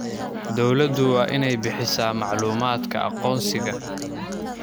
Dawladdu waa inay bixisaa macluumaadka aqoonsiga.